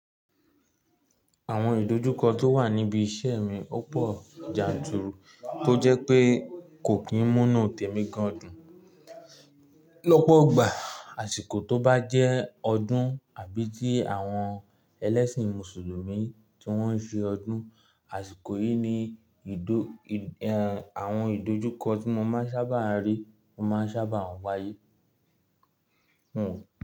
Àwọn ìdojúkọ tó wà níbi iṣẹ́ mi o pọ̀ janturu, tó jẹ́ pé kò kín múnú tèmi gan dun. Lọ́pọ̀gbà àsìkò tó bá jẹ́ ọdún àbí ti àwọn ẹlẹ́ṣìn mùsùlùmí tí wọ́n ń ṣe ọdún, àsìkò yìí ni ìdo ehn àwọn ìdojúkọ tí mo má ń sábà rí, o má ń sábà wáyé.